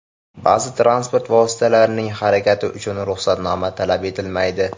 Ba’zi transport vositalarining harakati uchun ruxsatnoma talab etilmaydi .